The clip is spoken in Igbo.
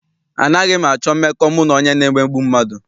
Anaghị m achọ mmekọ mụ na onye na-emegbu mmadụ.